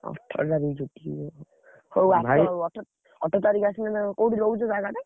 ଅଠର ତାରିଖ୍ ଛୁଟି, ହଉ ଆସ ଅଠର ତାରିଖ୍ ଆସିଲେ ଉଁ କୋଉଠି ରହୁଛ ଜାଗାଟା?